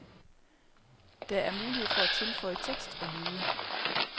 Der er mulighed for at tilføje tekst og lyde.